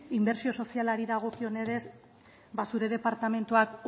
inbertsio sozialari dagokionez ba zure departamenduak